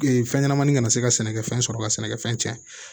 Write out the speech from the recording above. fɛn ɲɛnɛmanin kana se ka sɛnɛkɛfɛn sɔrɔ ka sɛnɛkɛfɛn cɛn